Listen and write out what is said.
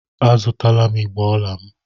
A zụtala m igbé ọla m.